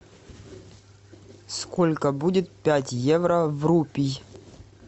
сколько будет пять евро в рупи